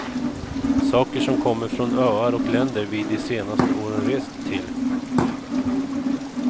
Saker som kommer från öar och länder vi de senaste åren rest till.